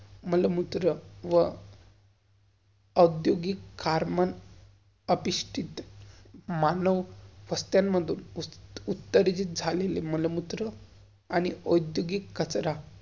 मलमूत्र व् उद्योगिक खारमान मानव उत्तरित झालेले मलमूत्र आणि उद्योगिक कचरा.